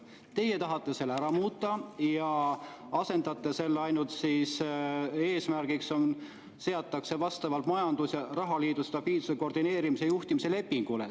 Teie tahate selle ära muuta: eesmärk seatakse vastavalt majandus- ja rahaliidu stabiilsuse, koordineerimise ja juhtimise lepingule.